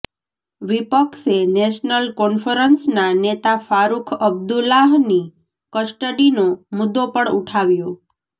વિપક્ષે નેશનલ કોન્ફરન્સના નેતા ફારુખ અબ્દુલ્લાહની કસ્ટડીનો મુદ્દો પણ ઊઠાવ્યો